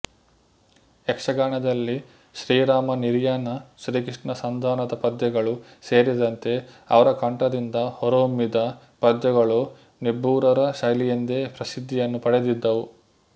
ಯಕ್ಷಗಾನದಲ್ಲಿ ಶ್ರೀರಾಮ ನಿರ್ಯಾಣ ಶ್ರೀಕೃಷ್ಣ ಸಂಧಾನದ ಪದ್ಯಗಳು ಸೇರಿದಂತೆ ಅವರ ಕಂಠದಿಂದ ಹೊರಹೊಮ್ಮಿದ ಪದ್ಯಗಳು ನೆಬ್ಬೂರರ ಶೈಲಿಯೆಂದೇ ಪ್ರಸಿದ್ಧಿಯನ್ನು ಪಡೆದಿದ್ದವು